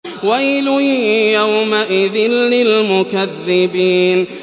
وَيْلٌ يَوْمَئِذٍ لِّلْمُكَذِّبِينَ